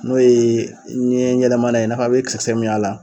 N'o ye ni n ye yɛlɛma n'a ye i n'a fɔ a be kisɛ kisɛ min y'a la